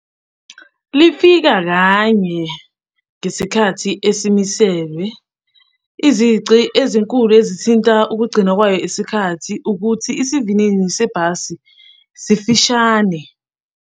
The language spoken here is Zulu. Lifika kanye ngesikhathi esimiselwe. Izici ezinkulu ezithinta ukugcinwa kwayo isikhathi ukuthi isivinini sebhasi sifishane.